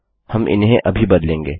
हम इन्हें अभी बदलेंगे